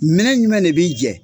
Minɛ ɲumɛ de b'i jɛ?